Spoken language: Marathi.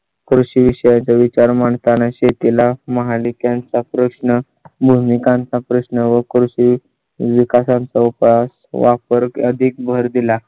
कृषि विषया चा विचार म्हणताना शेती ला महापालिकांचा प्रश्न मी कांता, प्रश्न व कृषी विकासात वकास वापर अधिक भर दिला.